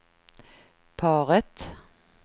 paret